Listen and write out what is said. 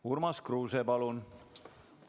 Urmas Kruuse, palun!